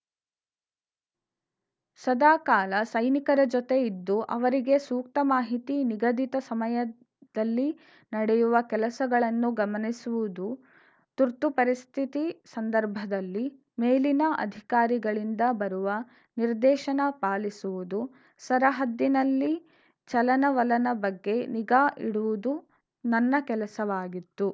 ಸದಾಕಾಲ ಸೈನಿಕರ ಜೊತೆ ಇದ್ದು ಅವರಿಗೆ ಸೂಕ್ತ ಮಾಹಿತಿ ನಿಗದಿತ ಸಮಯದಲ್ಲಿ ನಡೆಯುವ ಕೆಲಸಗಳನ್ನು ಗಮನಿಸುವುದು ತುರ್ತು ಪರಿಸ್ಥಿತಿ ಸಂದರ್ಭದಲ್ಲಿ ಮೇಲಿನ ಅಧಿಕಾರಿಗಳಿಂದ ಬರುವ ನಿರ್ದೇಶನ ಪಾಲಿಸುವುದು ಸರಹದ್ದಿನಲ್ಲಿ ಚಲನವಲನ ಬಗ್ಗೆ ನಿಗಾ ಇಡುವುದು ನನ್ನ ಕೆಲಸವಾಗಿತ್ತು